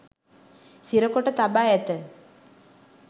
සිරකොට තබා ඇත